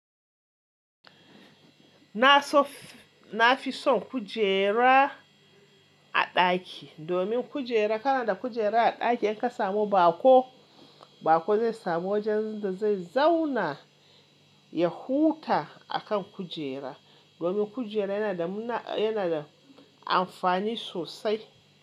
Na so na fi son kujera a ɗaki, domin kujera kana da kujera a ɗaki in ka samu baƙo, baƙo zai samu wajen da zai zauna ya huta a kan kujera. Domin kujera yana da mu na yana da amfani sosai.